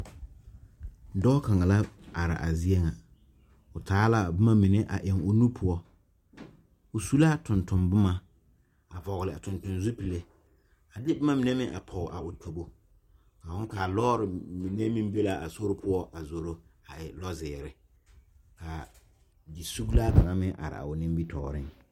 Dɔɔ kaŋ la are a zie ŋa o taa la a boma mine eŋ o nu poɔ o su la tontonne boma a vɔgle zupile a de boma mine meŋ a pɔge a o tobo ka loori mine meŋ be la sori poɔ a zoro a e lozeere ka yisuglaa kaŋa meŋ are a nimitɔɔreŋ.